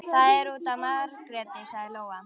Það er út af Margréti, sagði Lóa.